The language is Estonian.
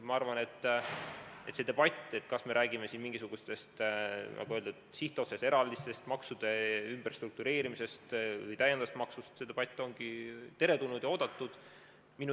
Ma arvan, et see debatt, kas me räägime siin mingisugustest, nagu öeldud, sihtotstarbelistest eraldistest, maksude ümberstruktureerimisest või lisamaksust, ongi teretulnud ja oodatud.